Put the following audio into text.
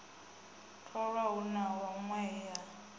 tholwa hu na hunwe he